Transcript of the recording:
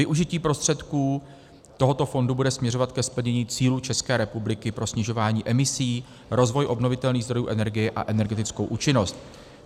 Využití prostředků tohoto fondu bude směřovat ke splnění cílů České republiky pro snižování emisí, rozvoj obnovitelných zdrojů energie a energetickou účinnost.